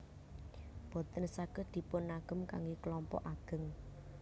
Boten saged dipunagem kanggé kelompok ageng